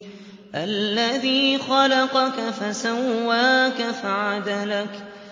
الَّذِي خَلَقَكَ فَسَوَّاكَ فَعَدَلَكَ